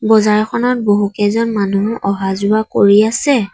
বজাৰখনত বহুকেইজন মানুহ অহা যোৱা কৰি আছে।